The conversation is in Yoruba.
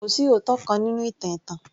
Kò sí òótọ́ kan nínú ìtàn ẹ̀tàn